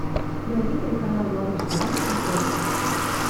найди телеканал малыш тв на смотрешке